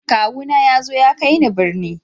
Kawu na ya zo ya kai ni birni.